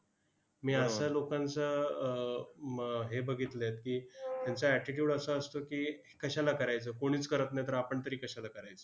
मी अश्या लोकांचा आह म हे बघितलं की, त्यांचा attitude असा असतो की, कशाला करायचं, कोणीच करत नाही तर आपण तरी कशाला करायचं.